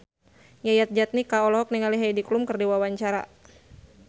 Yayan Jatnika olohok ningali Heidi Klum keur diwawancara